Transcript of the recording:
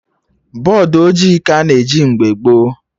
Bọdụ ojii ka a na eji mgbe gboo